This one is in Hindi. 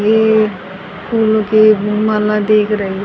ये फूलों की माला दिख रही--